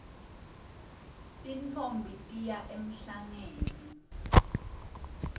tintfombi tiya emhlangeni